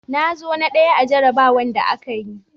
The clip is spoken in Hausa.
Na zo na ɗaya a jarrabawar da aka yi.